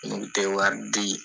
Mun te wari di